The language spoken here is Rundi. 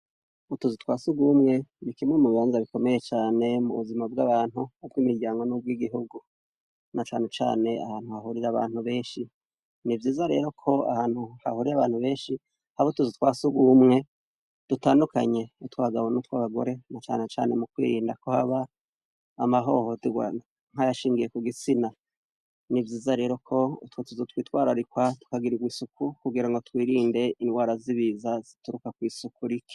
Ubuzu twa surwumwe, ni kimwe mu bibanza bikomeye mu buzima bw' abantu, ubw' imiryango n' ubw' igihugu. Na cane cane ahantu hahurira abantu benshi. Ni vyiza rero ko ahantu hahurira abantu benshi haba utuzu twa surwumwe dutandukanye, utw' abagabo n' utwabagore, na cane cane mu kwirinda ko haba amahohoterwa nk'ayashingiye ku gitsina. Ni vyiza rero ko utwo tuzu twitwararikwa tukagirirwa isuku kugirango twirinde ingwara z' ibiza zituruka kw' isuku rike.